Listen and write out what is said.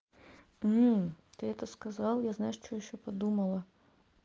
ты это сказал я знаю что ещё подумала